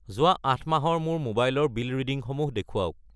যোৱা 8 মাহৰ মোৰ মোবাইল ৰ বিল ৰিডিংসমূহ দেখুৱাওক।